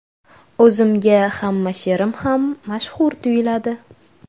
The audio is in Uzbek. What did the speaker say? O‘zimga hamma she’rim ham mashhur tuyuladi.